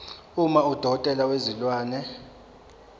uma udokotela wezilwane